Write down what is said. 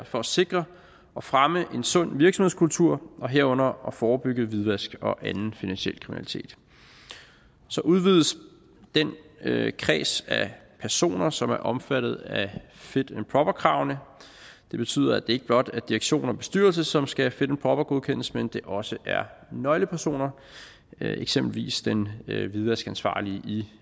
for at sikre og fremme en sund virksomhedskultur herunder forebygge hvidvask og anden finansiel kriminalitet så udvides den kreds af personer som er omfattet af fit and proper kravene det betyder at det ikke blot er direktion og bestyrelse som skal fit and proper godkendes men at det også er nøglepersoner eksempelvis den hvidvaskansvarlige i